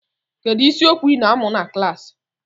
Kedu isiokwu ị na-amụ na klaasị?